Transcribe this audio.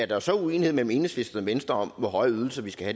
der så er uenighed mellem enhedslisten og venstre om hvor høje ydelser vi skal